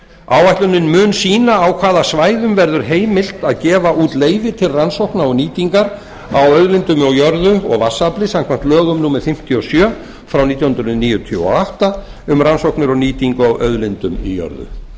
áætlunin mun sýna á hvaða svæðum verður heimilt að gefa út leyfi til rannsókna og nýtingar á auðlindum í jörðu og vatnsafli samkvæmt lögum númer fimmtíu og sjö nítján hundruð níutíu og átta um rannsóknir og nýtingu á auðlindum í jörðu